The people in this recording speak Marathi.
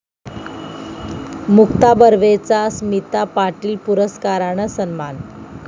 मुक्ता बर्वेचा स्मिता पाटील पुरस्कारानं सन्मान